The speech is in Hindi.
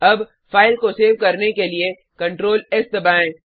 अब फाइल को सेव करने के लिए Ctrls दबाएँ